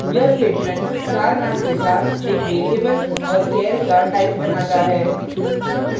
यह statement star name के साथ एक variable और char का type बनाता है